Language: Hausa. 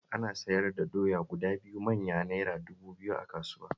Ana siyar da doya guda biyu manya Naira dubu biyu a kasuwa